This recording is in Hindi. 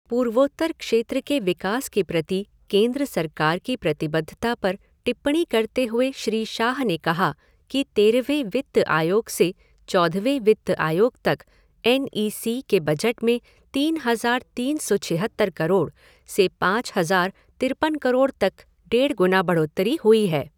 पूर्वोत्तर क्षेत्र के विकास के प्रति केंद्र सरकार की प्रतिबद्धता पर टिप्पणी करते हुए श्री शाह ने कहा कि तेरहवें वित्त आयोग से चौदहवें वित्त आयोग तक एन इ सी के बजट में तीन हज़ार तीन सौ छिहत्तर करोड़ से पाँच हज़ार तिरपन करोड़ तक डेढ़ गुना बढ़ोतरी हुई है।